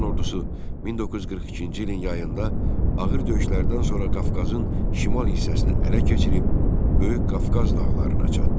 Alman ordusu 1942-ci ilin yayında ağır döyüşlərdən sonra Qafqazın şimal hissəsini ələ keçirib Böyük Qafqaz dağlarına çatdı.